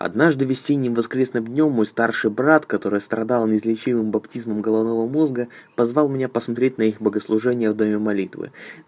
однажды весенним воскресным днём мой старший брат который страдал неизлечимым баптизмом головного мозга позвал меня посмотреть на их богослужения в доме молитвы